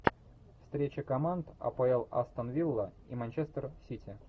встреча команд апл астон вилла и манчестер сити